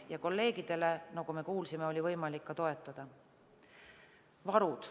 Ja kolleegidele, nagu me kuulsime, oli võimalik toetuda.